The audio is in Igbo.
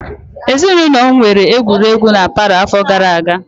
Ezinụlọm mere egwuregwu na palọ afọ gara aga.